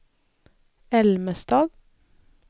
Älmestad